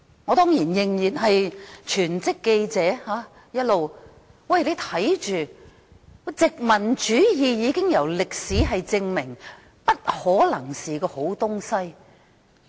我仍然一直擔任全職記者，歷史已證明，殖民主義不可能是好東西。